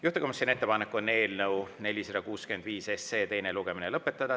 Juhtivkomisjoni ettepanek on eelnõu 465 teine lugemine lõpetada.